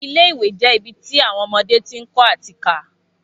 Ilé ìwé je ibi ti awọn ọmọdé ti ń kọ́ ati ká